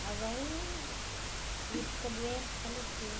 Mas aí, ele ficou doente e faleceu.